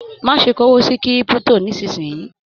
Má ṣe k'owó sí kírípútò nisinyi!